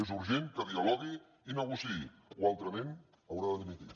és urgent que dialogui i negociï o altrament haurà de dimitir